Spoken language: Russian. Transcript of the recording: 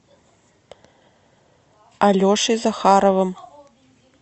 алешей захаровым